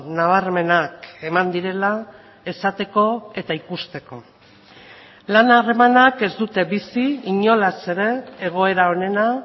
nabarmenak eman direla esateko eta ikusteko lan harremanak ez dute bizi inolaz ere egoera onena